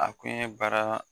A kun ye baara